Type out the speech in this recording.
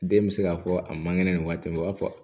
Den bɛ se k'a fɔ a man kɛnɛ nin waati in o b'a fɔ